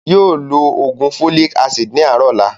Yii o ló ló oògùn "Folic Acid" ni àárọ̀ ọ̀la